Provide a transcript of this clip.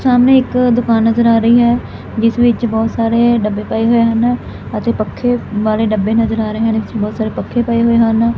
ਸਾਹਮਣੇ ਇੱਕ ਦੁਕਾਨ ਨਜ਼ਰ ਆ ਰਹੀ ਐ ਜਿਸ ਵਿੱਚ ਬਹੁਤ ਸਾਰੇ ਡੱਬੇ ਪਏ ਹੋਏ ਹਨ ਅਤੇ ਪੱਖੇ ਵਾਲੇ ਡੱਬੇ ਨਜ਼ਰ ਆ ਰਹੇ ਹਨ ਪੱਖੇ ਪਏ ਹੋਏ ਹਨ।